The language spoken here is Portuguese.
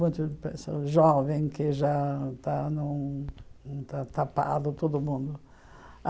Muito pesso jovem, que já está num num ta tapado, todo mundo.